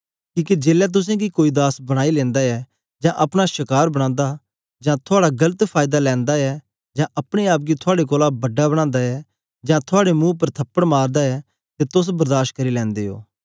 किके जेलै तुसेंगी कोई दास बनाई लैंदा ऐ जां अपना शकार बनांदा जां थुआड़ा गलत फायदा लैंदा ऐ जां अपने आप गी थुआड़े कोलां बड़ा बनांदा ऐ जां थुआड़े मुंह उपर थपड़ मारदा ऐ ते तोस बर्दाश करी लैंदे ओ